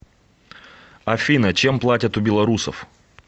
афина чем платят у белорусов